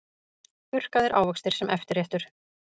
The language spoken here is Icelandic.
Þurrkaðir ávextir sem eftirréttur